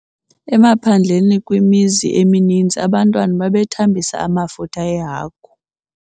Emaphandleni kwimizi emininzi abantwana babethambisa amafutha ehagu.